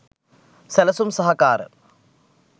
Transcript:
සැලසුම් සහකාර